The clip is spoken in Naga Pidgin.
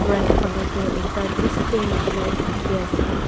right phale tu ekta display nishina dikhi ase.